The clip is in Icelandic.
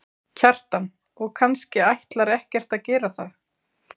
Kjartan: Og kannski ætlar ekkert að gera það?